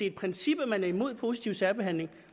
et princip at man er imod positiv særbehandling